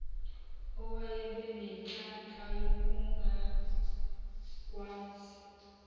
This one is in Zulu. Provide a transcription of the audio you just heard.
owayebe nenhlanhla yokungagwazi